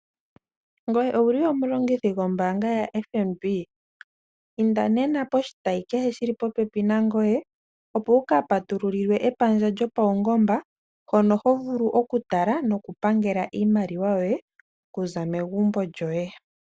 Ngoye ouli omulongithi gombaanga yaFNB inda nena koshitayi keshe shili popepi nangoye opo wu kapatululilwe epandja lyo paungomba hono hovulu okutala noku pangela iimaliwa yoye okuza megumbo lyoye.